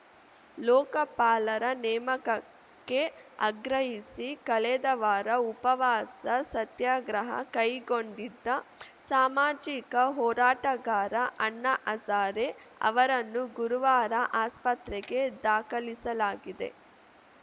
ಲೋಕಪಾಲರ ನೇಮಕಕ್ಕೆ ಆಗ್ರಹಿಸಿ ಕಳೆದ ವಾರ ಉಪವಾಸ ಸತ್ಯಾಗ್ರಹ ಕೈಗೊಂಡಿದ್ದ ಸಾಮಾಜಿಕ ಹೋರಾಟಗಾರ ಅಣ್ಣಾ ಹಜಾರೆ ಅವರನ್ನುಗುರುವಾರ ಆಸ್ಪತ್ರೆಗೆ ದಾಖಲಿಸಲಾಗಿದೆ